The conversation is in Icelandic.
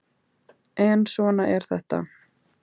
En svona er þetta